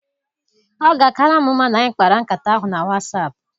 Ọ ga-akara m mma na anyị kpara nkata ahụ na Wasap.